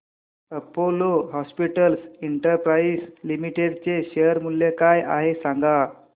Apollo Hospitals Enterprise Limited चे share मूल्य काय आहे सांगा